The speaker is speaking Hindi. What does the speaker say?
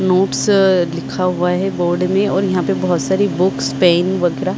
नोट्स लिखा हुआ है बोर्ड में और यहाँ पे बोहोत सारी बुक्स पेन वगेरा--